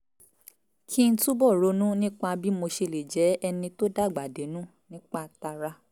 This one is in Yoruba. kí n túbọ̀ ronú nípa bí mo ṣe lè jẹ́ ẹni tó dàgbà dénú nípa tara